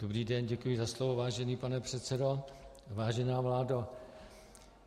Dobrý den, děkuji za slovo, vážený pane předsedo, vážená vládo.